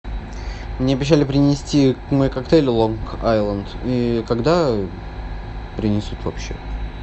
мне обещали принести мой коктейль лонг айленд и когда принесут вообще